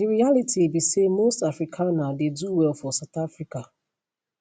di realitybe say most afrikaner dey do well for south africa